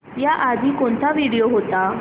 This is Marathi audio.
याआधी कोणता व्हिडिओ होता